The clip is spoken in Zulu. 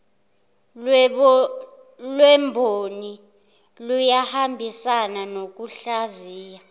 lwemboni luyahambisana nokuhlaziya